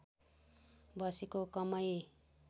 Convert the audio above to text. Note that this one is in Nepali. बसेको कमै